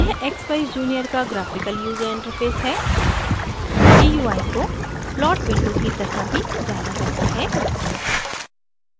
यह expeyes junior का graphical user interface gui है gui को plot window की तरह भी जाना जाता है